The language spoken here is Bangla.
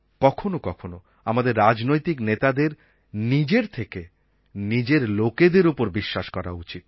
কখনো কখনো আমাদের রাজনৈতিক নেতাদের নিজের থেকে নিজের লোকেদের ওপর বিশ্বাস করা উচিত